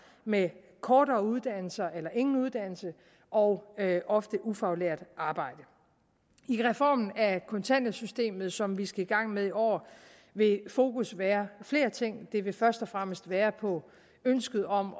med korte uddannelser eller ingen uddannelse og ofte ufaglært arbejde i reformen af kontanthjælpssystemet som vi skal i gang med i år vil fokus være flere ting det vil først og fremmest være på ønsket om